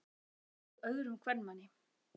Hann hefur selt sig öðrum kvenmanni.